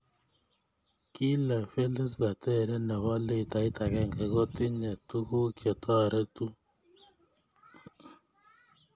Kil e Felista teree ne bo litait akenge ko tinye tukuk chetoretuu .